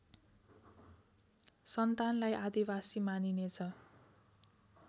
सन्तानलाई आदिवासी मानिनेछ